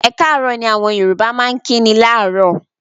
"Ẹ káàárọ̀" ni àwọn Yorùbá máa ń kíni láàárọ̀.